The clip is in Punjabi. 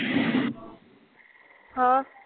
ਹਾਂ